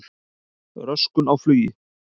Röskun á flugi